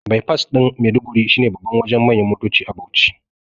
baifas ɗin Maiduguri shine babban Wajen manyan motoci a Bauchi